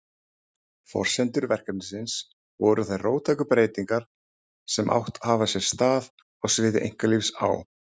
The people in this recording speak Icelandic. Forsendur verkefnisins voru þær róttæku breytingar sem átt hafa sér stað á sviði einkalífs á